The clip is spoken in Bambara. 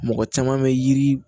Mɔgɔ caman bɛ yiri